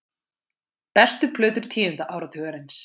Bestu plötur tíunda áratugarins